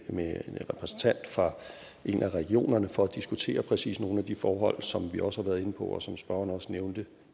med en repræsentant for en af regionerne for at diskutere præcis nogle af de forhold som vi også har været inde på og som spørgeren også nævnte